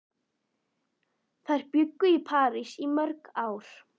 Þær bjuggu í París í mörg ár.